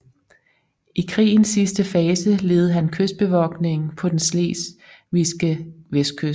I krigens sidste fase ledede han kystbevogtningen på den slesvigske vestkyst